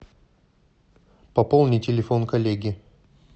пополни телефон коллеги